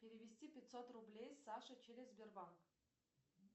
перевести пятьсот рублей саше через сбербанк